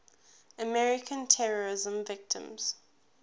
american terrorism victims